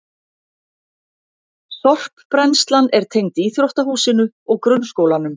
Sorpbrennslan er tengd íþróttahúsinu og grunnskólanum